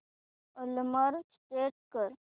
alarm set कर